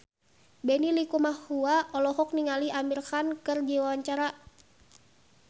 Benny Likumahua olohok ningali Amir Khan keur diwawancara